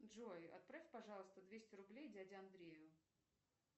джой отправь пожалуйста двести рублей дяде андрею